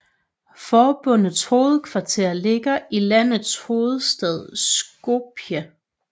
Forbundets hovedkvarter ligger i landets hovedstad Skopje